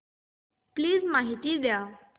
please माहिती द्या